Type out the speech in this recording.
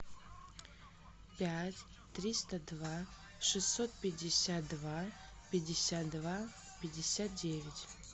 пять триста два шестьсот пятьдесят два пятьдесят два пятьдесят девять